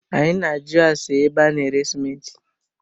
Anyị na ajụ ase ébé a na-ere simenti